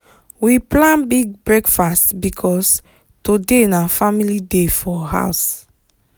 we plan big breakfast because today na family day for house.